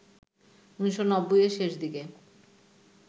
১৯৯০-এর শেষ দিকে